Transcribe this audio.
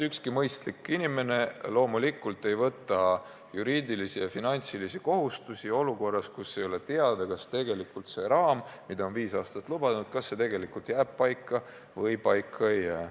Ükski mõistlik inimene loomulikult ei võta juriidilisi ja finantsilisi kohustusi olukorras, kus ei ole teada, kas raam, mida on viis aastat lubatud, tegelikult jääb paika või ei jää.